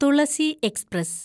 Thulasi express